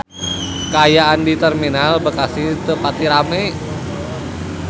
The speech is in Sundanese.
Kaayaan di Terminal Bekasi teu pati rame